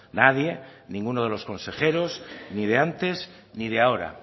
nadie ninguno de los consejeros ni de antes ni de ahora